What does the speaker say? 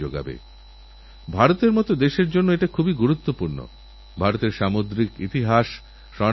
স্থানীয় মানুষজন তাঁদের রেলস্টেশনগুলির দেওয়ালকে চিত্রকলায় সাজিয়ে নিজেদের এলাকারস্বতন্ত্র পরিচয় রাখছেন